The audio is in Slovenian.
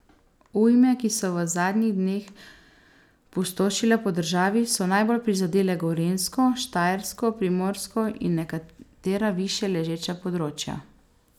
Ujme, ki so v zadnjih dneh pustošile po državi, so najbolj prizadele Gorenjsko, Štajersko, Primorsko in nekatera višje ležeča področja.